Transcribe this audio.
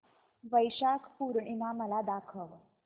वैशाख पूर्णिमा मला दाखव